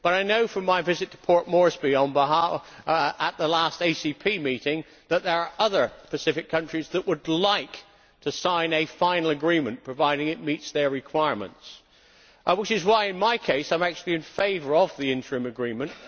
However, I know from my visit to Port Moresby at the last ACP meeting that there are other Pacific countries that would like to sign a final agreement provided it meets their requirements, which is why, in my case, I am actually in favour of the interim agreement.